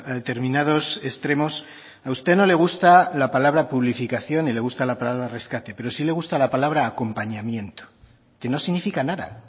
determinados extremos a usted no le gusta la palabra publificación ni le gusta la palabra rescate pero sí le gusta la palabra acompañamiento que no significa nada